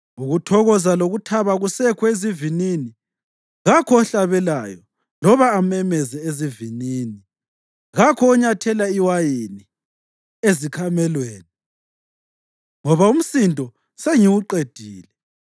Ukuthokoza lokuthaba akusekho ezivinini; kakho ohlabelayo loba amemeze ezivinini; kakho onyathela iwayini ezikhamelweni ngoba umsindo sengiwuqedile.